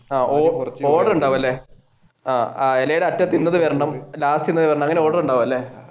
ആഹ് order ഉണ്ടാവുമല്ലേ